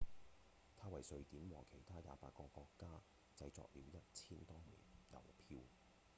他為瑞典和其他28個國家製作了一千多枚郵票